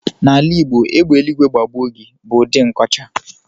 N'ala Igbo, "égbè eluigwe gbagbuo gị" bụ ụdị nkọcha.